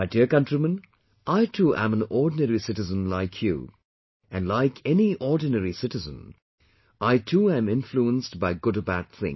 My dear countrymen, I too am an ordinary citizen like you and like any ordinary citizen I too am influenced by good or bad things